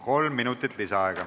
Kolm minutit lisaaega.